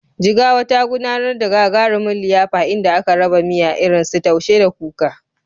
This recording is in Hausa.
Jigawa, ta gudanar da gagarumin liyafa inda aka raba miya irinsu Taushe da Kuka.